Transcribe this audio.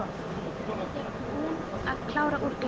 Enda þegar búin að klára úr glasinu.